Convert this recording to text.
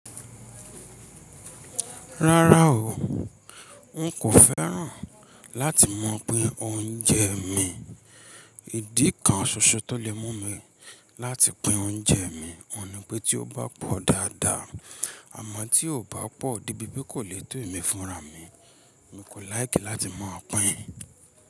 Rárá o, n kò fẹ́ràn láti mọ̀ pin oúnjẹ mí. Ìdí kan ṣoṣo tó lè mú mi láti pín oúnjẹ mi, òun ní pé tí ó bá pọ̀ dáadáa, àmọ́ tí ò bá pọ̀ dé bìpe kò lè tó ẹ̀mí fúnra mi. N kò láìkí láti mọ̀ pín.